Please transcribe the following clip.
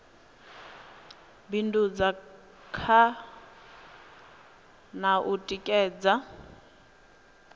bindudza kha na u tikedza